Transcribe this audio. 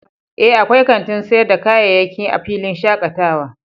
Ee, akwai kantin sayar da kayayyaki a filin shakatawa